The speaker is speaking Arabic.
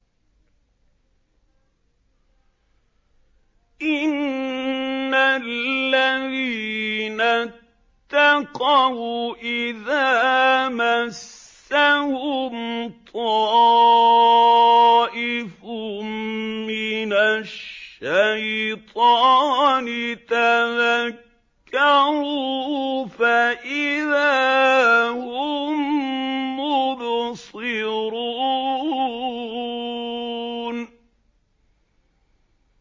إِنَّ الَّذِينَ اتَّقَوْا إِذَا مَسَّهُمْ طَائِفٌ مِّنَ الشَّيْطَانِ تَذَكَّرُوا فَإِذَا هُم مُّبْصِرُونَ